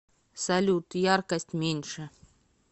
салют яркость меньше